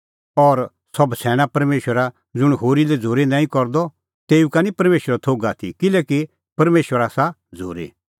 ज़ुंण होरी लै झ़ूरी नांईं करदअ तेऊ का निं परमेशरो थोघ आथी किल्हैकि परमेशर आसा झ़ूरी